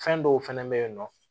Fɛn dɔw fɛnɛ bɛ yen nɔ